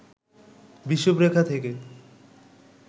বিষুবরেখা থেকে